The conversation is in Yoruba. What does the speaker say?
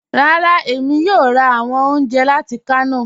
Rárá, èmi yóò rà awọn ọ̀unjẹ láti Kano.